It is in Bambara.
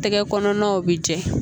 Tɛgɛ kɔnɔnaw bɛ jɛ